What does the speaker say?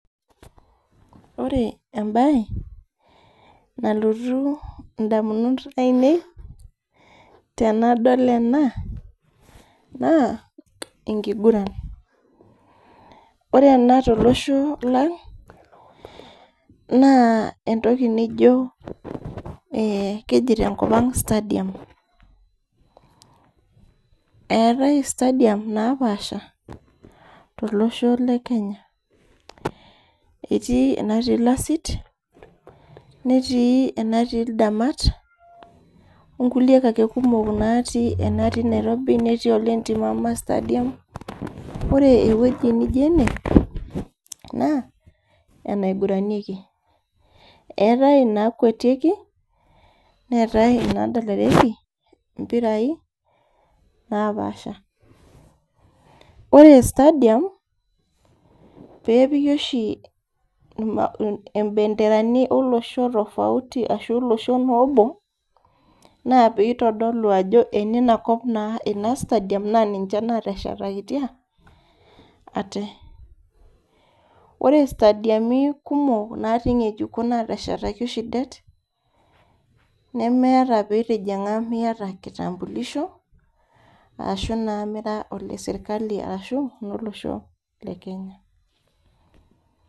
Ore embaye nalotu indamunot ainei tenadol ena naa enkiguran ore ena tolosho lang naa entoki nijio eh keji tenkop ang stadium eetae stadium napaasha tolosho le kenya etii enatii ilasit netii enatii ildamat onkulie kumok ake natii enatii nairobi netii enatii Ole ntimama stadium ore ewueji nijio ene naa enaiguranieki eetae inakuetieki neetae inadalareki impirai napaasha ore stadium peepiki oshi ima imbenderani olosho tofauti arashu olosho naa obo naa peitodolu ajo eneina kop naa ina stadium naa ninche nateshetakitia ate ore istadiami kumok natii ing'ejuko nateshetaki oshi det nemeeta pitijing'a mita kitambulisho ashu naa mira ole sirkali arashu ololosho le kenya.